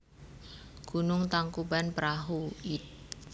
Gunung Tangkubanprahu id